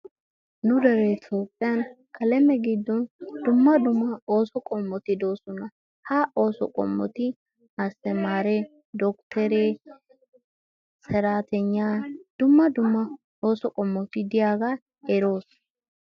Nu deree Toophphiyan aleme giddon dumma dumma ooso qommoti doosona. Ha ooso qommoti asttamaaree dokttoree, saraataygnaa dumma dumma ooso qommoti diyagaa eroos.